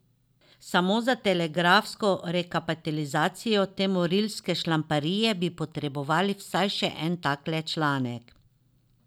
Samo za telegrafsko rekapitulacijo te morilske šlamparije bi potrebovali vsaj še en takle članek.